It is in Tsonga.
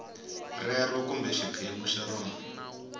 rero kumbe xiphemu xa rona